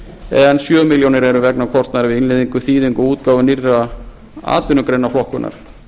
en sjö milljónir eru vegna kostnaðar við innleiðingu þýðingu og útgáfu nýrrar atvinnugreinaflokkunar